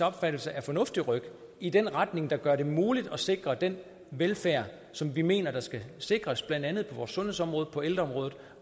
opfattelse er fornuftige ryk i den retning der gør det muligt at sikre den velfærd som vi mener skal sikres blandt andet på sundhedsområdet og på ældreområdet